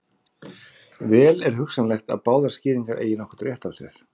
Vel er hugsanlegt að báðar skýringarnar eigi nokkurn rétt á sér.